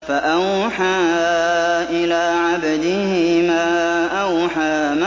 فَأَوْحَىٰ إِلَىٰ عَبْدِهِ مَا أَوْحَىٰ